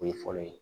O ye fɔlɔ ye